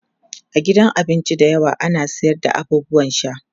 a gidan abinci da yawa ana sayar da abubuwan sha